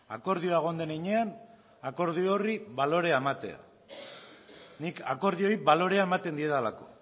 akordioa egon den heinean akordio horri balorea ematea nik akordioei balorea ematen diedalako